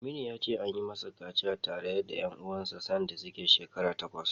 Aminu ya ce, an yi masa kaciya tare da ƴan uwansa sanda yana shekara takwas.